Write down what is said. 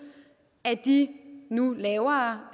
af de nu lavere